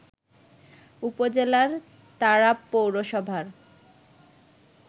উপজেলার তারাব পৌরসভার